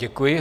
Děkuji.